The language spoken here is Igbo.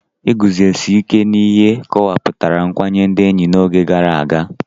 Iguzosi ike n'ihe kọwapụtara nkwanye ndị enyi n'oge gara aga.